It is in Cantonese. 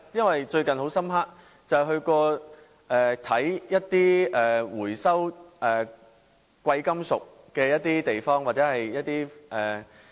我最近到過一些回收貴金屬的地方，印象很深刻。